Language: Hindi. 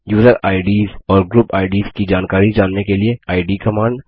यूज़र आईडीएस और ग्रुप आईडीएस की जानकारी जानने के लिए इद कमांड